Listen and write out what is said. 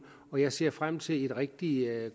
og jeg ser frem til et rigtig